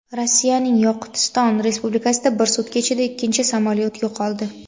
Rossiyaning Yoqutiston Respublikasida bir sutka ichida ikkinchi samolyot yo‘qoldi.